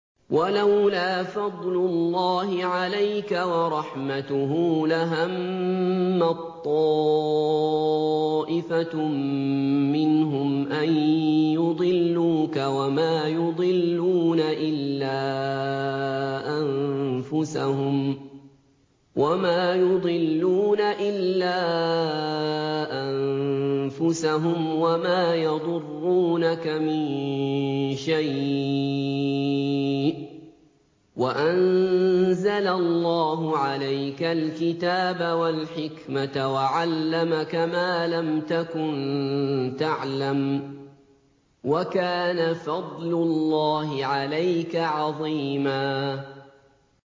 وَلَوْلَا فَضْلُ اللَّهِ عَلَيْكَ وَرَحْمَتُهُ لَهَمَّت طَّائِفَةٌ مِّنْهُمْ أَن يُضِلُّوكَ وَمَا يُضِلُّونَ إِلَّا أَنفُسَهُمْ ۖ وَمَا يَضُرُّونَكَ مِن شَيْءٍ ۚ وَأَنزَلَ اللَّهُ عَلَيْكَ الْكِتَابَ وَالْحِكْمَةَ وَعَلَّمَكَ مَا لَمْ تَكُن تَعْلَمُ ۚ وَكَانَ فَضْلُ اللَّهِ عَلَيْكَ عَظِيمًا